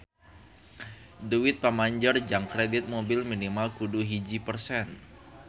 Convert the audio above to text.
Duit pamanjer jang kredit mobil minimal kudu hiji persen